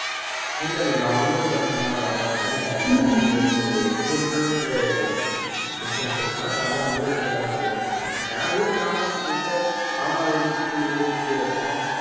இல்ல இல்ல நான் உங்க ஊர் பக்கமெல்லாம் வர மாட்டேன் எனக்கும் உங்களுக்கும் ஒரு தொண்ணூறு kilometer distance இருக்கும் அதனால உங்க side ல வந்து மாட்டேன் என் வீட்டுக்கு opposite வீட்ல மாமா வீடு சித்தி வீட்டையே சுத்தி இருக்கும்